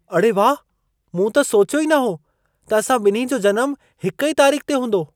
अड़े वाह! मूं त सोचियो ई न हो त असां ॿिन्ही जो जनमु हिक ई तारीख़ ते हूंदो।